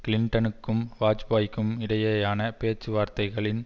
கிளின்டனுக்கும் வாஜ்பாய்க்கும் இடையேயான பேச்சுவார்த்தைகளின்